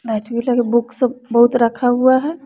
Book सब बहुत रखा हुआ है।